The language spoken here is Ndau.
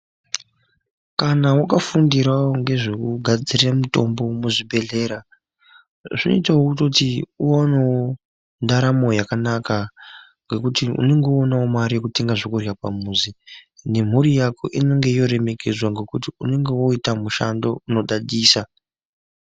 Kana wakafundirawo ngezvekugadzira mitombo zvinoitawo kutoti uwanewo ndaramo yakanaka ngekuti unenge woonawo mare yekutenga zvekurya pamuzi nemhuri yako inenge yoremekedzwa ngekuti unenge woita mushando unodadisa